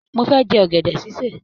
Mo fẹ jẹ ọgẹdẹ ṣiṣe.